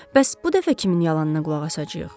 Bəs bu dəfə kimin yalanına qulaq asacağıq?